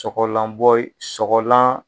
Sɔgɔlanbɔ yi, sɔgɔlan.